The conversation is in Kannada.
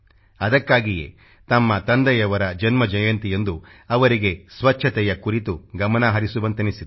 ಅದಕ್ಕಾಗಿಯೇ ತಮ್ಮ ತಂದೆಯವರ ಜನ್ಮ ಜಯಂತಿಯಂದು ಅವರಿಗೆ ಸ್ಚಚ್ಛತೆಯ ಕುರಿತು ಗಮನ ಹರಿಸುವಂತೆನಿಸಿದೆ